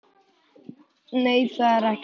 Nei, það er ekki mikið.